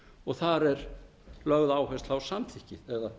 og þar er lögð áhersla á samþykki eða